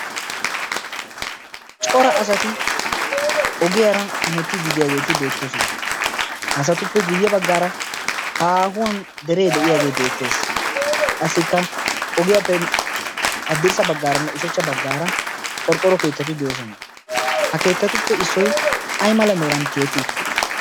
cora asati ogiyaara heemetiddi de'iyaagetti beettosona. ha asatuppe guyye baggaara haahuwaan deree de'iyaagee beettees. qassikka ogiyaappe hadirssa baggaaranne ushshacha baggaara qorqqoro kettati beettoosona. ha keetatuppe issoy ay mala meran tiyetti uttidee?